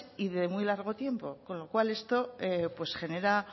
y de muy largo tiempo con lo cual esto genera